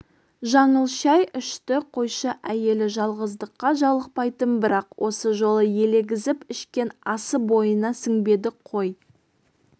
жаңыл шай ішті қойшы әйелі жалғыздыққа жалықпайтын бірақ осы жолы елегізіп ішкен асы бойына сіңбеді қой